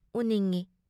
ꯎꯅꯤꯡꯢ ꯫